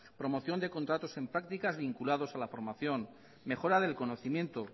promoción de contratos en prácticas vinculados a la formación mejora del conocimiento